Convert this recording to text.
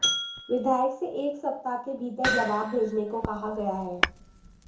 विधायक से एक सप्ताह के भीतर जवाब भेजने को कहा गया है